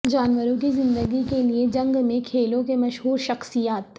جانوروں کی زندگی کے لئے جنگ میں کھیلوں کے مشہور شخصیات